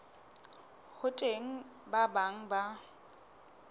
ho teng ba bang ba